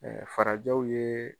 Ɛɛ farajaw ye